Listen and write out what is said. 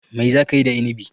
Mai za ka yi da Inibi?